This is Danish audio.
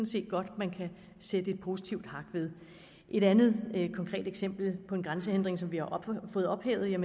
set godt man kan sætte et positivt hak ved et andet konkret eksempel på en grænsehindring som vi har fået ophævet er